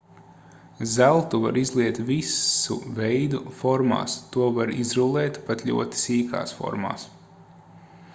zeltu var izliet visu veidu formās to var izrullēt pat ļoti sīkās formās